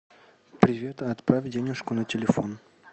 привет отправь денежку на телефон